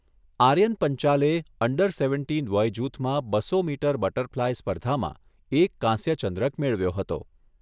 આર્યન પંચાલે under seventeen વયજૂથમાં બસો મીટર બટરફલાઈ સ્પર્ધામાં એક કાંસ્ય ચંદ્રક મેળવ્યો હતો.